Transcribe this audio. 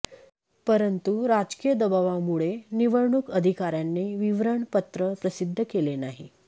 परंतु राजकीय दबावामुळे निवडणूक अधिकार्यांनी विवरण पत्र प्रसिध्द केले नाही